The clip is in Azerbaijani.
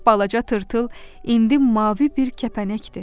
Balaca tırtıl indi mavi bir kəpənəkdir.